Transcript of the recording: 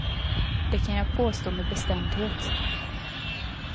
Det kan jag påstå med bestämdhet.